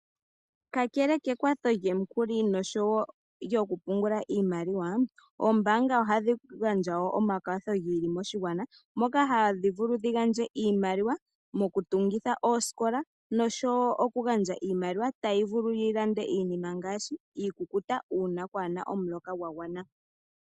Kakele kekwatho lyomikuli nosho wo okupungula iimaliwa, oombaanga ohadhi gandja wo omakwatho gi ili moshigwana moka hadhi vulu dhi gandje imaliwa mokutungitha oosikola nosho wo okugandja iimaliwa tayi vulu yi lande iinima ngaashi iikukuta uuna kwaa na omuloka gwa gwana.